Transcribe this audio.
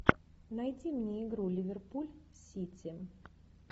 найди мне игру ливерпуль сити